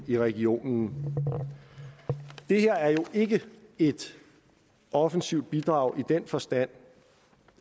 i regionen det her er jo ikke et offensivt bidrag i den forstand